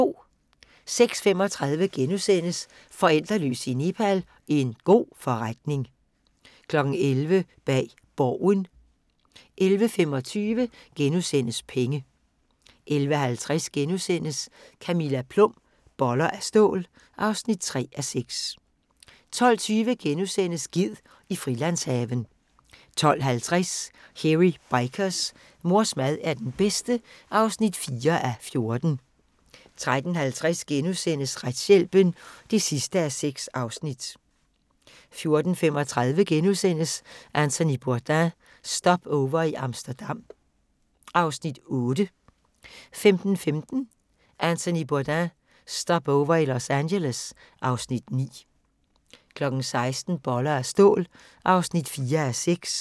06:35: Forældreløs i Nepal – en god forretning * 11:00: Bag Borgen 11:25: Penge * 11:50: Camilla Plum – Boller af stål (3:6)* 12:20: Ged i frilandshaven * 12:50: Hairy Bikers: Mors mad er den bedste (4:14) 13:50: Retshjælpen (6:6)* 14:35: Anthony Bourdain – Stopover i Amsterdam (Afs. 8)* 15:15: Anthony Bourdain – Stopover i Los Angeles (Afs. 9) 16:00: Boller af stål (4:6)